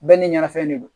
Bɛɛ ni ɲanafɛn de don